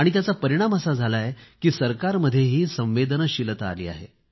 त्याचा परिणाम असा झाला आहे की सरकारमध्येही संवेदनशीलता आली आहे